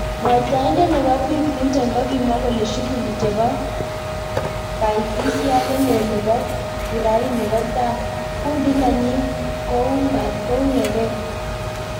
Mwataindet nebo Bi Clinton kokimwa kole shughuli chebo kaitisiat nelel nebo kuraini kotai, kundit nenyi koungagei.